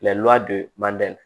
don mande la